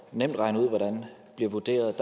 nemt regne ud hvordan bliver vurderet